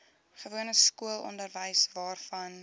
gewone skoolonderwys waarvan